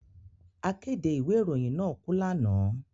Akéde ìwé ìròyìn náà kú lánàá